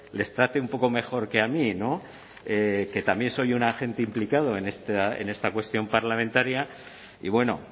les trate un poco mejor que a mí no que también soy un agente implicado en esta cuestión parlamentaria y bueno